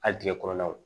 Hali digɛn kɔnɔnaw